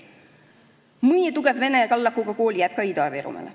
Mõni tugev vene kallakuga kool jääb ka Ida-Virumaale.